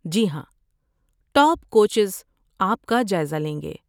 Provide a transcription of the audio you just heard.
جی ہاں، top coaches آپ کا جائزہ لیں گے۔